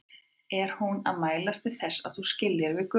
Er hún að mælast til þess að þú skiljir við Guðrúnu?